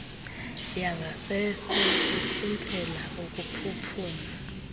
yangasese ithintela ukuphuphuma